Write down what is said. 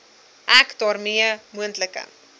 ek daarmee moontlike